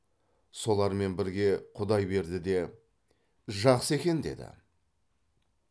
солармен бірге құдайберді де жақсы екен деді